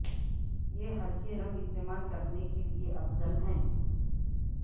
یہ ہلکے رنگ استعمال کرنے کے لئے افضل ہے